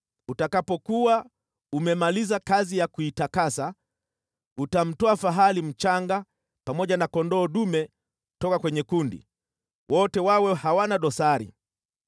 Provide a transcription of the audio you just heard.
Utakapokuwa umemaliza kazi ya kuitakasa, utamtoa fahali mchanga pamoja na kondoo dume toka kwenye kundi, wote wawe hawana dosari.